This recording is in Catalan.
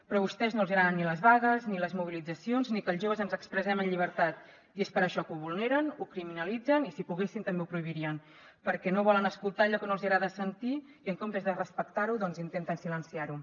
però a vostès no els agraden ni les vagues ni les mobilitzacions ni que els joves ens expressem en llibertat i és per això que ho vulneren ho criminalitzen i si poguessin també ho prohibirien perquè no volen escoltar allò que no els agrada sentir i en comptes de respectar ho doncs intenten silenciar ho